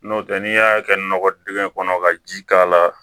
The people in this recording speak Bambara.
N'o tɛ n'i y'a kɛ nɔgɔ dingɛ kɔnɔ ka ji k'a la